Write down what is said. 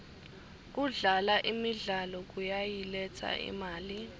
kudlala imidlalo kuyayiletsa imali